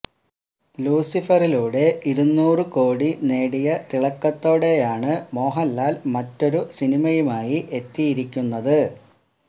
ലൂസിഫറിലൂടെ ഇരുന്നൂറ് കോടി നേടിയ തിളക്കത്തോടെയാണ് മോഹന്ലാല് മറ്റൊരു സിനിമയുമായി എത്തിയിരിക്കുന്നത്